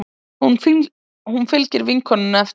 Hún fylgir vinkonunni eftir.